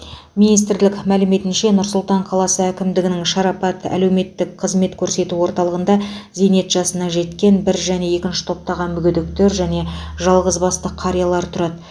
министрлік мәліметінше нұр сұлтан қаласы әкімдігінің шарапат әлеуметтік қызмет көрсету орталығында зейнет жасына жеткен бір және екінші топтағы мүгедектер және жалғыз басты қариялар тұрады